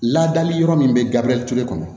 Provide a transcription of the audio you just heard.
Ladali yɔrɔ min bɛ gabrie tule kɔnɔ